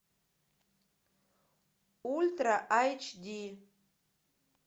ультра айч ди